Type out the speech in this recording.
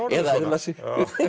eða eðla sig